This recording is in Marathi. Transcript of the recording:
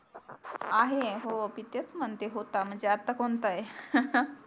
आहे हो मी तेच म्हणते होता म्हणजे आता कोणता आहे